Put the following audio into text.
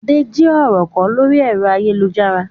Adé jí ọ̀rọ̀ kọ lórí ẹ̀rọ ayélujára.